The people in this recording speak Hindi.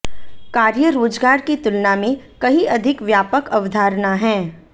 कार्य रोजगार की तुलना में कहीं अधिक व्यापक अवधारणा है